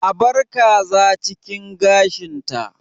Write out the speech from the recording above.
Abar kaza cikin gashin ta!